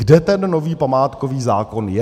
Kde ten nový památkový zákon je?